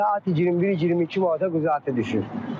Belə atıb 21-22 manata quzuyu düşür.